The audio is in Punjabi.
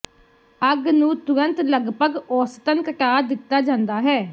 ਅੱਗ ਨੂੰ ਤੁਰੰਤ ਲਗਭਗ ਔਸਤਨ ਘਟਾ ਦਿੱਤਾ ਜਾਂਦਾ ਹੈ